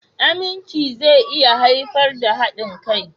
Aminci zai iya haifar da haɗin kai.